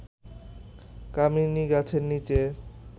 কামিনী গাছের নিচে